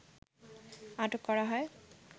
আটক করা হয়